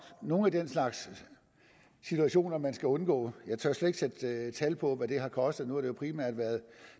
nogle af den slags situationer man skal undgå jeg tør slet ikke sætte tal på hvad det har kostet nu jo primært været